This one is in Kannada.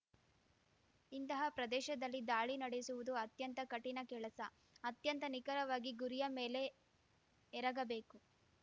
ಇಂತಹ ಪ್ರದೇಶದಲ್ಲಿ ದಾಳಿ ನಡೆಸುವುದು ಅತ್ಯಂತ ಕಠಿಣ ಕೆಲಸ ಅತ್ಯಂತ ನಿಖರವಾಗಿ ಗುರಿಯ ಮೇಲೆ ಎರಗಬೇಕು